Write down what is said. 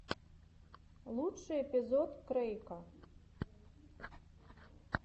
лучший эпизод крэйка